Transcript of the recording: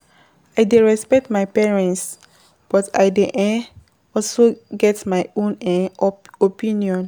I dey respect my parents but I dey um also get my own um opinion.